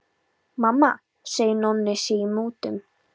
Mamma segir að Nonni sé í mútum.